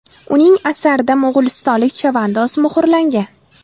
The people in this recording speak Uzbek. Uning asarida mo‘g‘ulistonlik chavandoz muhrlangan.